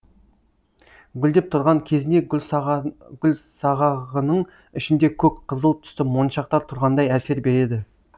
гүлдеп тұрған кезінде гүлсағағының ішінде көк қызыл түсті моншақтар тұрғандай әсер береді